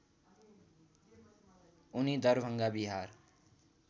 उनी दरभङ्गा बिहार